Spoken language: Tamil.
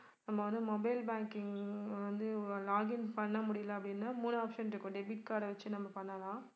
நம்ம வந்து mobile banking வந்து login பண்ண முடியல அப்படினா மூணு option இருக்கு. debit card அ வெச்சி நம்ம பண்ணலாம்